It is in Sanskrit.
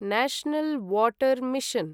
national water mission